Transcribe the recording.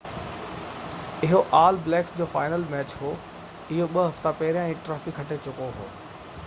اهو All Blacks جو final match هو اهو ٻہ هفتا پهيريان ئي ٽرافي کٽي چڪو هو